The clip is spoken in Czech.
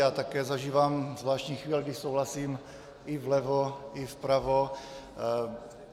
Já také zažívám zvláštní chvíle, kdy souhlasím i vlevo i vpravo.